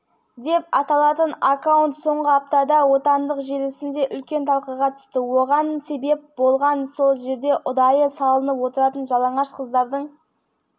оған қоса әр сурет менің әйелім керемет ал сендердікі түкке тұрмайды деген сөздермен салынып отырған ақыры парақшаиесінің қазақ екені жұртшылыққа мәлім болған